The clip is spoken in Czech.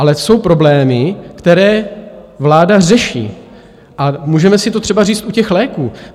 Ale jsou problémy, které vláda řeší, a můžeme si to třeba říct u těch léků.